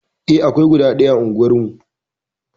Eh, akwai guda ɗaya a unguwarmu.